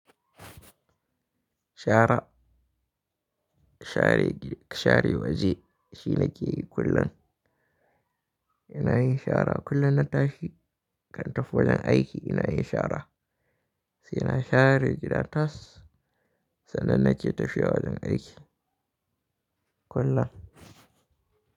Shara, share gida, share waje shine ke yi kullum. Ina yin shara kullum na tashi kan tafi wajen aiki ina yin shara. Sai ina share gidan tas sannan na je tashin wajen aiki kullum.